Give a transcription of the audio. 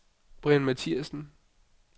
Brian Mathiassen